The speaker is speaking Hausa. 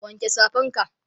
wanke Safan ka!